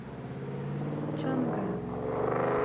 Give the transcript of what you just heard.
чангэ